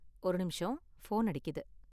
ஒரு நிமிஷம், ஃபோன் அடிக்குது.